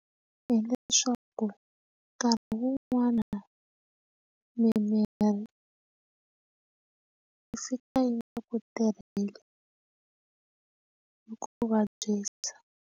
Hileswaku nkarhi wun'wana mimirhi yi fika yi nga ku tirhela xi ku vabyisa.